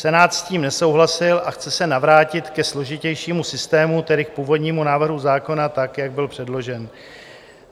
Senát s tím nesouhlasil a chce se navrátit ke složitějšímu systému, tedy k původnímu návrhu zákona tak, jak byl předložen.